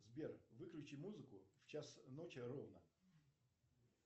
сбер выключи музыку в час ночи ровно